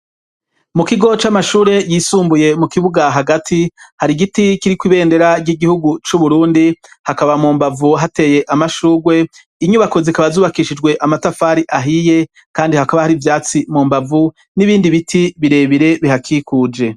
Mu kigo c'amashure yisumbuye mu kibuga hagati hari giti kiri ku ibendera ry'igihugu c'uburundi hakaba mu mbavu hateye amashurwe inyubako zikaba zubakishijwe amatafari ahiye kandi hakaba hari ivyatsi mu mbavu n'ibindi biti birebire bihakikuje.